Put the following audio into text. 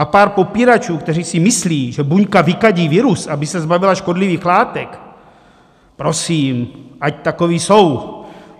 A pár popíračů, kteří si myslí, že buňka vykadí virus, aby se zbavila škodlivých látek, prosím, ať takoví jsou.